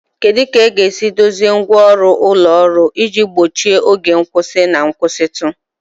Kedu ka esi edozi ngwa ọrụ ụlọ ọrụ iji gbochie oge nkwụsị na nkwụsịtụ?